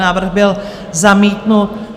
Návrh byl zamítnut.